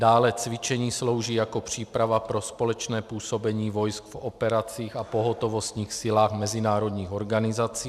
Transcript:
Dále cvičení slouží jako příprava pro společné působení vojsk v operacích a pohotovostních silách mezinárodních organizací.